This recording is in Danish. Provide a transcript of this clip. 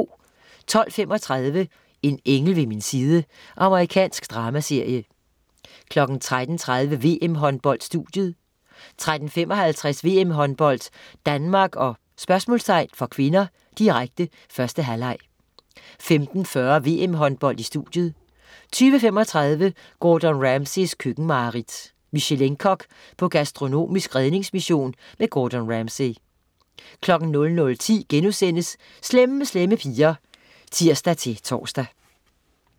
12.35 En engel ved min side. Amerikansk dramaserie 13.30 VM-Håndbold: Studiet 13.55 VM-Håndbold: Danmark-? (k), direkte. 1. halvleg 15.40 VM-Håndbold: Studiet 20.35 Gordon Ramsays køkkenmareridt. Michelin-kok på gastronomisk redningsmission. Gordon Ramsay 00.10 Slemme Slemme Piger* (tirs-tors)